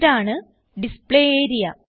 ഇതാണ് display area